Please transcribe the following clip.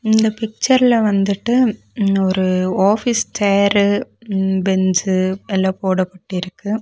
இந்த பிச்சர்ல வந்துட்டு ம் ஒரு ஆஃபீஸ் சேரு ம் பெஞ்சு எல்லா போடப்பட்டிருக்கு.